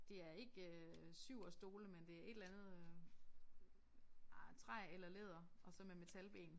Det er ikke øh Syverstole men det et eller andet øh ah træ eller læder og så med metalben